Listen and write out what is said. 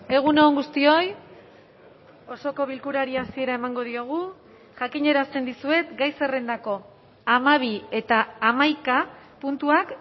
egun on guztioi osoko bilkurari hasiera emango diogu jakinarazten dizuet gai zerrendako hamabi eta hamaika puntuak